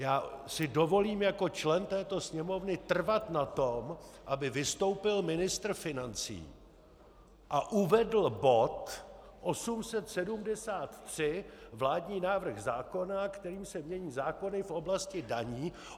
Já si dovolím jako člen této Sněmovny trvat na tom, aby vystoupil ministr financí a uvedl bod 873, vládní návrh zákona, kterým se mění zákony v oblasti daní.